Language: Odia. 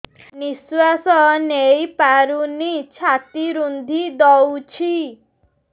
ନିଶ୍ୱାସ ନେଇପାରୁନି ଛାତି ରୁନ୍ଧି ଦଉଛି